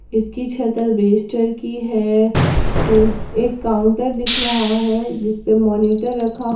इसकी छते एलिवेटर की है ल एक काउंटर दिख रहा है जिस पर मॉनिटर रखा--